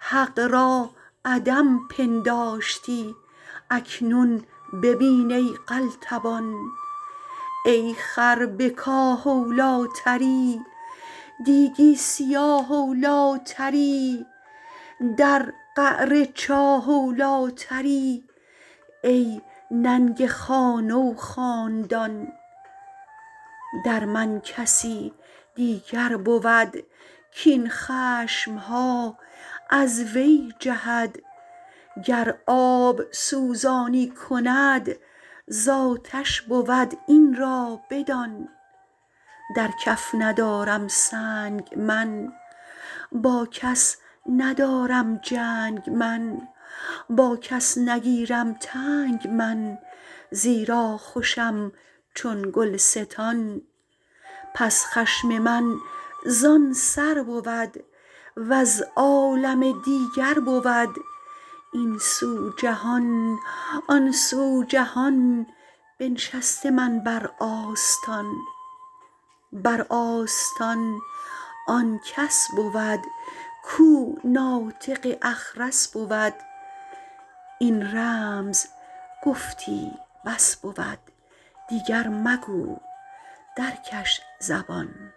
حق را عدم پنداشتی اکنون ببین ای قلتبان ای خر به کاه اولی تری دیگی سیاه اولی تری در قعر چاه اولی تری ای ننگ خانه و خاندان در من کسی دیگر بود کاین خشم ها از وی جهد گر آب سوزانی کند زآتش بود این را بدان در کف ندارم سنگ من با کس ندارم جنگ من با کس نگیرم تنگ من زیرا خوشم چون گلستان پس خشم من زان سر بود وز عالم دیگر بود این سو جهان آن سو جهان بنشسته من بر آستان بر آستان آن کس بود کو ناطق اخرس بود این رمز گفتی بس بود دیگر مگو در کش زبان